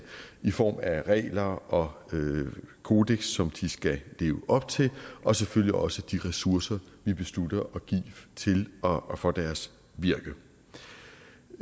i form af regler og kodeks som de skal leve op til og selvfølgelig også de ressourcer vi beslutter at give til og og for deres virke